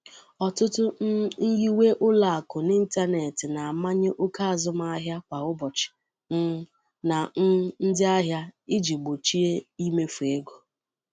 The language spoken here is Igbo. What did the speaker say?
Ọtụtụ um nyiwe ụlọ akụ n'ịntanetị na-amanye oke azụmahịa kwa ụbọchị um na um ndị ahịa iji gbochie imefu ego.